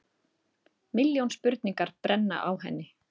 Milljón spurningar brenna á henni.